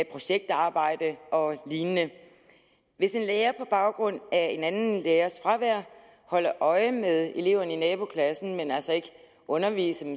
projektarbejde og lignende hvis en lærer på baggrund af en anden lærers fravær holder øje med eleverne i naboklassen men altså ikke underviser